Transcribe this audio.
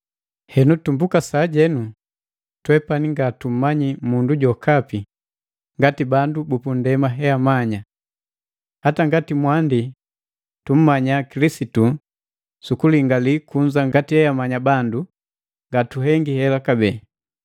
Henu tumbuka sajenu, twepani ngatummanyi mundu jokapi ngati bandu bupundema eamanya. Hata ngati pamwandi tummanya Kilisitu sukulingali kunza ngati eamanya bandu, ngatuhengi hela kabee.